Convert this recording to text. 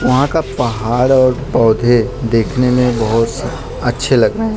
वहां का पहाड़ और पौधे देखने में बहोत अच्छे लग रहे हैं।